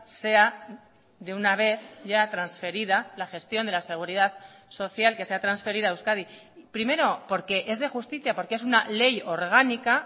sea de una vez ya transferida la gestión de la seguridad social que sea transferida a euskadi primero porque es de justicia porque es una ley orgánica